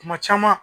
Kuma caman